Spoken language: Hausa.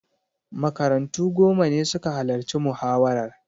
Makarantu goma ne suka halarci muhawarar.